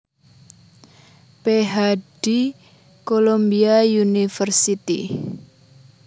Ph D Columbia University